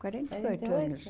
Quarenta e oito anos.